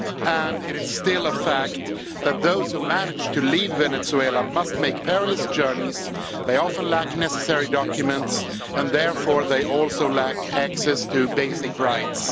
And it's still a fact that those who manage to leave Venezuela must make perilous journeys, they often lack the necessary documents and therefore they also lack access to basic rights.